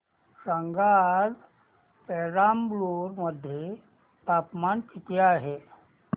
सांगा आज पेराम्बलुर मध्ये तापमान किती आहे